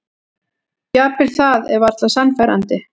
Jafnvel það er varla sannfærandi.